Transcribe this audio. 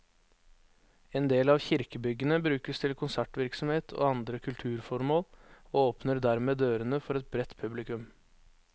En del av kirkebyggene brukes til konsertvirksomhet og andre kulturformål, og åpner dermed dørene for et bredt publikum.